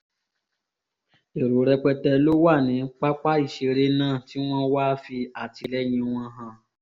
èrò rẹpẹtẹ ló wà ní pápá ìṣeré náà tí wọ́n wáá fi àtìlẹyìn wọn hàn